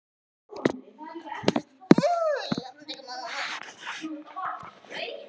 Jarðlög sem hlaðast upp í sjó setjast venjulega fyrir í nær láréttri stöðu.